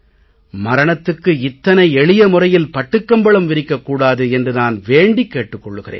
மரணத்துக்கு இத்தனை எளிய முறையில் பட்டுக் கம்பளம் விரிக்கக் கூடாது என்று நான் வேண்டிக் கேட்டுக் கொள்கிறேன்